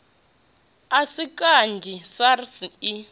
a si kanzhi sars i